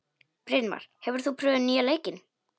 Brynmar, hefur þú prófað nýja leikinn?